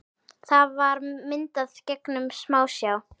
Það var myndað gegnum smásjá.